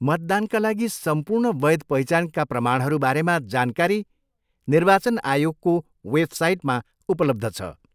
मतदानका लागि सम्पूर्ण वैध पहिचानका प्रमाणहरू बारेमा जानकारी निर्वाचन आयोगको वेबसाइटमा उपलब्ध छ।